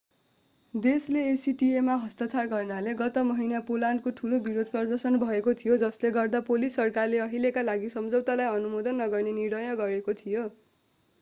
देशले acta मा हस्ताक्षर गर्नाले गत महिना पोल्यान्डमा ठूलो विरोध प्रदर्शन भएको थियो जसले गर्दा पोलिस सरकारले अहिलेका लागि सम्झौतालाई अनुमोदन नगर्ने निर्णय गरेको थियो